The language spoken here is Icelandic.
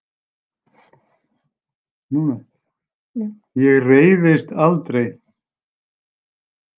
Ég reiðist aldrei.